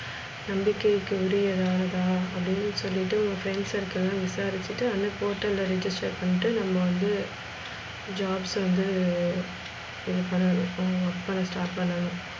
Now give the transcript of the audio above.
நம்பிக்கைக்குரியதா அப்டின்னு சொல்லிட்டு உங்க friends circle லா விசாரிச்சிட்டு அண்ணைக்கு potel register பண்ணிட்டு நம்ம வந்து jobs வந்து இதுபண்ணனும் work பண்ண start பண்ணனும்.